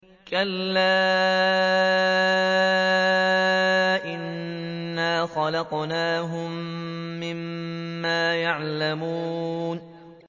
كَلَّا ۖ إِنَّا خَلَقْنَاهُم مِّمَّا يَعْلَمُونَ